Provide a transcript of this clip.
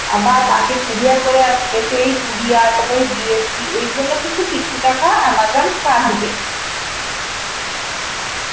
আবার তাকে courier করে আসছে, এই courier তারপর এই GST এই জন্যে কিন্তু কিছু টাকা Amazon কাটবে